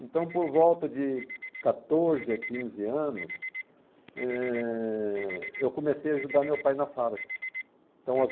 Então, por volta de quatorze a quinze anos, eh, eu comecei a ajudar meu pai na fábrica. Então as